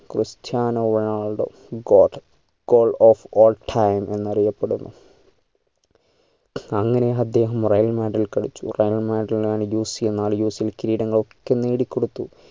Cristiano Ronaldo GOATgoal of all time എന്നറിയപ്പെടുന്നു അങ്ങനെ അദ്ദേഹം real madrid ൽ കളിച്ചു real madrid ലാണ് നാല് UCL കിരീടം ഒക്കെ നേടികൊടുത്തു